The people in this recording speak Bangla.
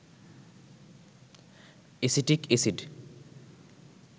acetic acid